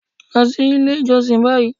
Lọ sí ilé ìjọsìn báyìí